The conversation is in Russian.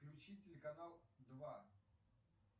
включить телеканал два